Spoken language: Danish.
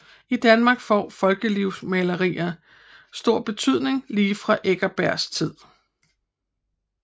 I Danmark får folkelivsmaleri stor betydning lige fra Eckersbergs tid